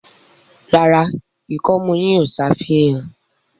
ràrá ikọmu yín o ṣàfihàn.